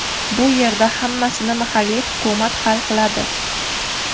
Bu yerda hammasini mahalliy hukumat hal qiladi.